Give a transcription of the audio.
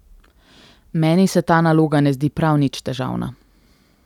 Meni se ta naloga ne zdi prav nič težavna.